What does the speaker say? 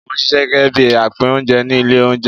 Mò ń ṣisẹ́ gẹ́gẹ́ bí apín oúnjẹ ní ilé oúnjẹ.